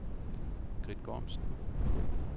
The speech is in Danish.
Grith Gormsen